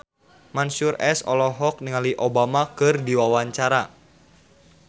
Mansyur S olohok ningali Obama keur diwawancara